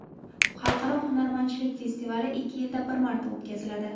Xalqaro hunarmandchilik festivali ikki yilda bir marta o‘tkaziladi.